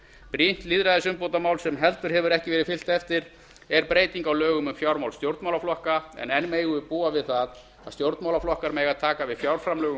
brýnt lýðræðisumbótamál sem heldur hefur ekki verið fylgt eftir er breyting á lögum um fjármál stjórnmálaflokka en enn megum við búa við það að stjórnmálaflokkar mega taka við fjárframlögum